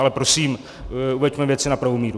Ale prosím, uveďme věci na pravou míru.